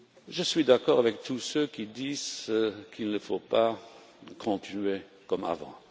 Je suis d'accord avec tous ceux qui disent qu'il ne faut pas continuer comme avant.